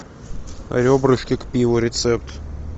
ребрышки к пиву рецепт